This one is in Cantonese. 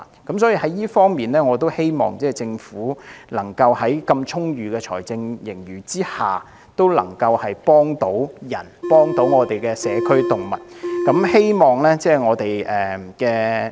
就這方面，我希望政府在擁有這麼充裕的財政盈餘下，幫助人和我們的社區動物。